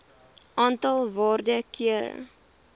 aantal waarde kere